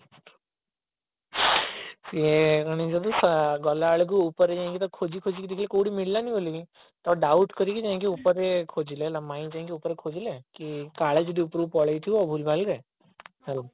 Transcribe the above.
ସିଏ ମାନେ ଯଦି ଗଲାବେଳକୁ ଉପରେ ଯାଇକି ଖୋଜି ଖୋଜିକି ଯାଇକି ଦେଖିଲେ କୋଉଠି ମିଳିଲାଣି ବୋଲିକି ତ doubt କରିକି ଯାଇକି ଉପରେ ଖୋଜିଲେ ମାଇଁ ଯାଇକି ଉପରେ ଖୋଜିଲେ କି କାଲେ ଯଦି ଉପରକୁ ପଳେଇଥିବ ଭୁଲ ଭଲ ରେ ଆଉ